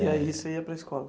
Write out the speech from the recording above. E aí você ia para a escola?